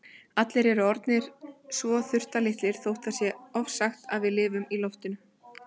Allir eru orðnir svo þurftarlitlir þótt það sé ofsagt að við lifum á loftinu.